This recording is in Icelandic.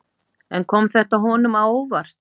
En kom þetta honum á óvart?